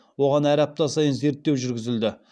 оған әр апта сайын зерттеу жүргізілді